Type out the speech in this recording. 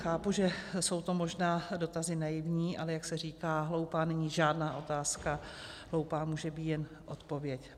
Chápu, že jsou to možná dotazy naivní, ale jak se říká, hloupá není žádná otázka, hloupá může být jen odpověď.